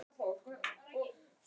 Allt í einu hverfur hún mér.